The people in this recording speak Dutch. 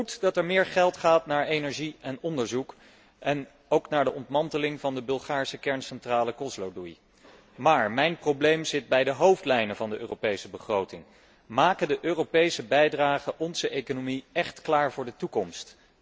Goed dat er meer geld gaat naar energie en onderzoek en ook naar de ontmanteling van de Bulgaarse kerncentrale Kozloduy, maar mijn probleem zit bij de hoofdlijnen van de Europese begroting. Maken de Europese bijdragen onze economie echt klaar voor de toekomst?